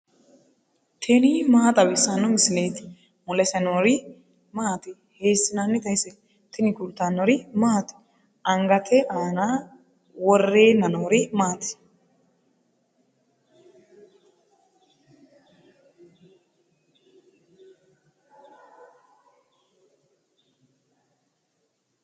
tini maa xawissanno misileeti ? mulese noori maati ? hiissinannite ise ? tini kultannori maati? Angatte aanna worrenna noori maatti?